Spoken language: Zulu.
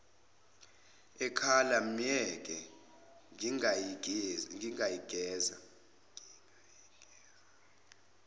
ekhala myeke ngingayigeza